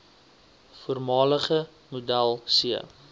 voormalige model c